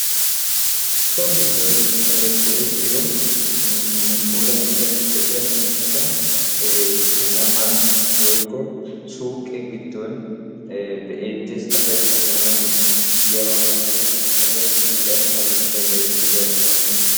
so giddon go'ettiyo puulatidanne go'iya miishshata kataman woykko suuqqe giddon be'eetees. asay shamanwu yiyaaba malatees. suuqiyaappe ha miishshay bayzzeetees.